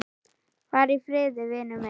Far í friði, vinur minn.